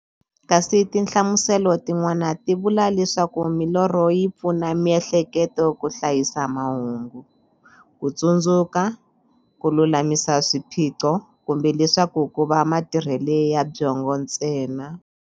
Kasi tinhlamuselo tin'wana ti vula leswaku milorho yi pfuna miehleketo ka hlayisa mahungu, kutsundzuka, kululamisa swiphiqo, kumbe leswaku kova matirhele ya byongo ntsena.